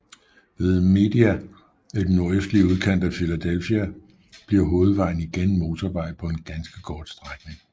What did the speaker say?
Ved Media i den nordøstlige udkant af Philadelphia bliver hovedvejen igen motorvej på en ganske kort strækning